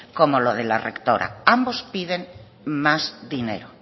como lo de la rectora ambos piden más dinero